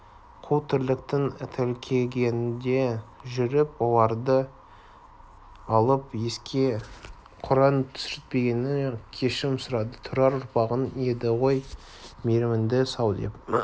қу тірліктің тәлкегінде жүріп оларды еске алып құран түсіртпегеніне кешірім сұрады тұрар ұрпағың еді ғой мейіріміңді сал деп